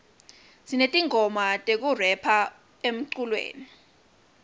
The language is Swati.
sinetingoma tekurepha emculweni